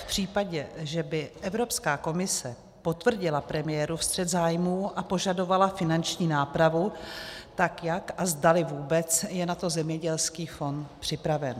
V případě, že by Evropská komise potvrdila premiérův střet zájmů a požadovala finanční nápravu, tak jak a zdali vůbec je na to zemědělských fond připraven.